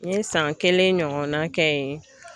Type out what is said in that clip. N ye san kelen ɲɔgɔnna kɛ yen